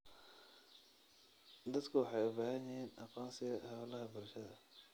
Dadku waxay u baahan yihiin aqoonsiga hawlaha bulshada.